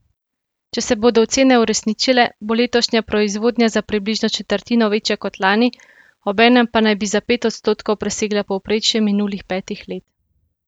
Če se bodo ocene uresničile, bo letošnja proizvodnja za približno četrtino večja kot lani, obenem pa naj bi za pet odstotkov presegla povprečje minulih pet let.